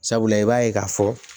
Sabula i b'a ye k'a fɔ